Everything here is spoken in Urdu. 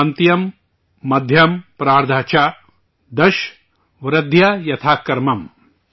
انتیم مدھیم پراردھہ چ، دش وردھیا یتھا کرمم